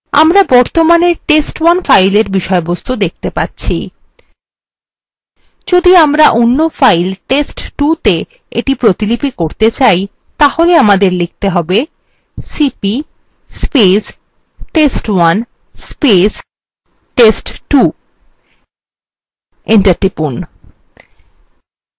আমরা বর্তমানে test1 fileএর বিষয়বস্তু দেখতে পাচ্ছি যদি আমরা অন্য file test2ত়ে এটি প্রতিলিপি করতে চাই তাহলে আমাদের লিখতে হবে